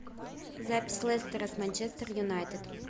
запись лестера с манчестер юнайтед